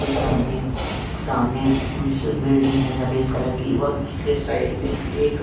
ये सामने एक सामने एक बिल्डिंग है सफेद कलर की और इसके साइड ( में एक --